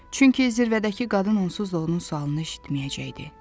Çünki zirvədəki qadın onsuz da onun sualını eşitməyəcəkdi.